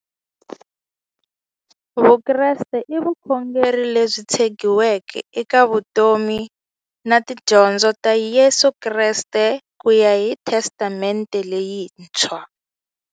Vukreste i vukhongeri lebyi tshegiweke eka vutomi na tidyondzo ta Yesu Kreste kuya hi Testamente leyintshwa.